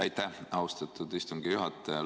Aitäh, austatud istungi juhataja!